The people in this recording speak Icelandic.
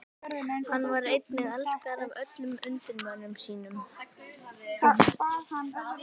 Hann var einnig elskaður af öllum undirmönnum sínum.